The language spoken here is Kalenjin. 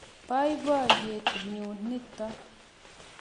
Poipoiyet nyu nitok.